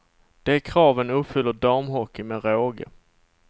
De kraven uppfyller damhockeyn med råge.